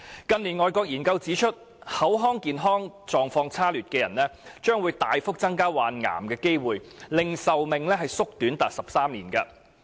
近年外國研究指出，口腔健康狀況差劣的人，患癌的機會亦會大幅增加，令壽命縮短高達13年。